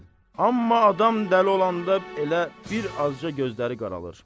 Amma adam dəli olanda elə bir azca gözləri qaralır.